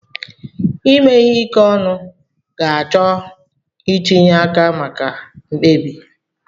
Ime ihe ike ọnụ ga-achọ ntinye aka maka mkpebi.